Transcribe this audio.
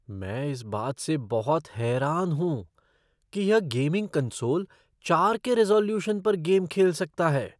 मैं इस बात से बहुत हैरान हूँ कि यह गेमिंग कंसोल चार के रिज़ॉल्यूशन पर गेम खेल सकता है।